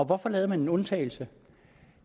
hvorfor lavede man en undtagelse